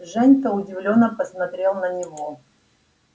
женька удивлённо посмотрел на него